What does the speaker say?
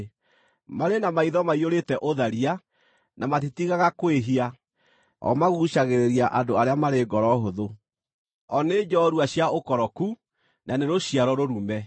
Marĩ na maitho maiyũrĩte ũtharia, na matitigaga kwĩhia; o maguucagĩrĩria andũ arĩa marĩ ngoro hũthũ; o nĩ njorua cia ũkoroku, na nĩ rũciaro rũrume!